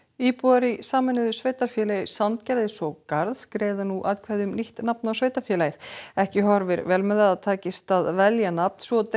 íbúar í sameinuðu sveitarfélagi Sandgerðis og Garðs greiða nú atkvæði um nýtt nafn á sveitarfélagið ekki horfir vel með að það takist að velja nafn svo